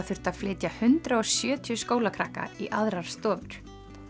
þurfti að flytja hundrað og sjötíu skólakrakka í aðrar stofur